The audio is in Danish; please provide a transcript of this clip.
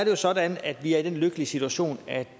jo sådan at vi er i den lykkelige situation at